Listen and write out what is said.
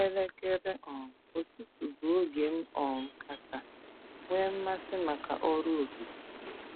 Elekere um ụtụtụ bụ oge m um kacha nwee mmasị maka ọrụ okike.